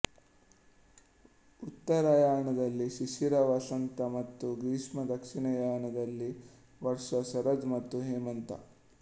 ಉತ್ತರಾಯಣದಲ್ಲಿ ಶಿಶಿರ ವಸಂತ ಮತ್ತು ಗ್ರೀಷ್ಮ ದಕ್ಷಿಣಾಯಣದಲ್ಲಿ ವರ್ಷ ಶರದ್ ಮತ್ತು ಹೇಮಂತ